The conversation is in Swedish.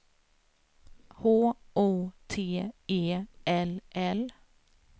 H O T E L L